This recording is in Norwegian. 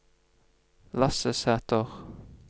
Lasse Sæter